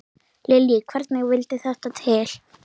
Lillý: Hvernig vildi þetta til?